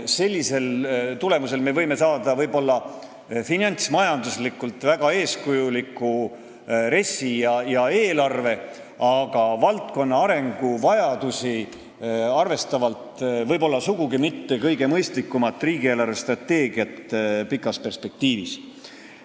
Selle tulemusel me võime võib-olla saada finantsmajanduslikult väga eeskujuliku RES-i ja eelarve, aga valdkonna arengu vajadusi silmas pidades sugugi mitte kõige mõistlikuma riigi eelarvestrateegia pikas perspektiivis.